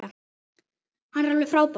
Hann er alveg frábær!